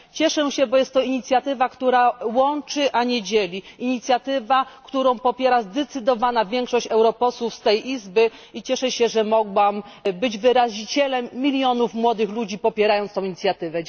Cieszę się, bo jest to inicjatywa, która łączy, a nie dzieli, inicjatywa, którą popiera zdecydowania większość europosłów z tej Izby i cieszę się, że mogłam być wyrazicielem milionów młodych ludzi, popierając tę inicjatywę.